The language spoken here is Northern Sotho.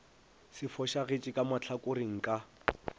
se fošagetše ka mahlakoreng ka